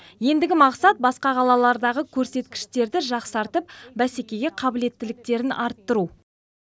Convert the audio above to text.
ендігі мақсат басқа қалалардағы көрсеткіштерді жақсартып бәсекеге қабілеттіліктерін арттыру